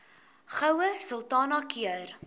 goue sultana keur